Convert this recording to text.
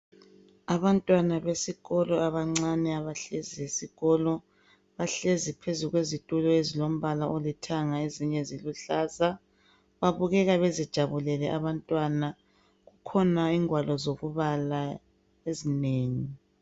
Abantwana besikolo abancane abahlezi esikolo, bahlezi phezu kwezitulo ezilombala oluhlaza lezilombala olithanga babukeka bejabulile. Kukhona ingwalo zokubala ezinengi.